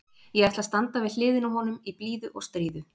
Ég ætla að standa við hliðina á honum í blíðu og stríðu.